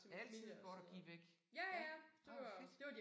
Altid godt at give væk. Ja ej hvor fedt